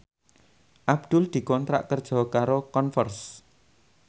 Abdul dikontrak kerja karo Converse